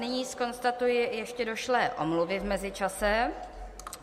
Nyní zkonstatuji ještě došlé omluvy v mezičase.